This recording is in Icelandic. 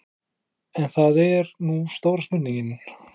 En það er nú stóra spurningin.